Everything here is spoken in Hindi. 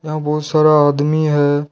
वहां बहुत सारा आदमी है।